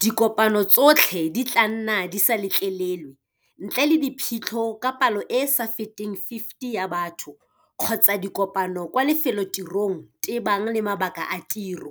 Dikopano tsotlhe di tla nna di sa letlelelwe, ntle le diphitlho ka palo e e sa feteng 50 ya batho kgotsa dikopano kwa lefelotirong tebang le mabaka a tiro,